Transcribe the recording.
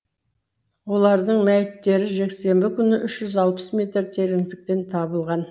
олардың мәйіттері жексенбі күні үш жүз алпыс метр тереңдіктен табылған